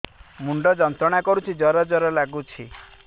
ମୁଣ୍ଡ ଯନ୍ତ୍ରଣା କରୁଛି ଜର ଜର ଲାଗୁଛି